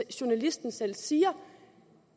journalisten selv siger